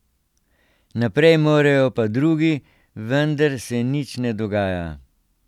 Naprej morajo pa drugi, vendar se nič ne dogaja.